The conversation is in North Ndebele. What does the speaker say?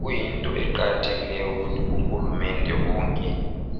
Kuyinto eqakathekileyo ukuthi ohulumende bonke